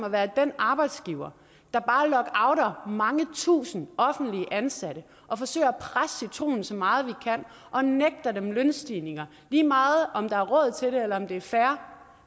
at være den arbejdsgiver der bare lockouter mange tusinde offentligt ansatte og forsøger at presse citronen så meget vi kan og nægter dem lønstigninger lige meget om der er råd til det eller om det er fair